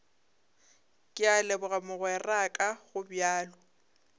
ke a leboga mogweraka gobjalo